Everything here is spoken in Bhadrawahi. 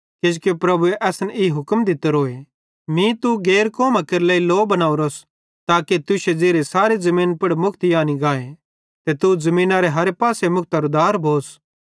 किजोकि प्रभुए असन ई हुक्म दित्तोरोए मीं तू मीं तू गैर कौमां केरे लेइ लौ बनोरस ताके तुश्शे ज़िरिये सारे ज़मीनी पुड़ मुक्ति आनी गाए ते तू ज़मीनरे हर पासे मुक्तरू दार भोस